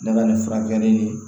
Ne ka nin furakɛli ni